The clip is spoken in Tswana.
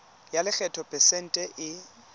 ya lekgetho phesente e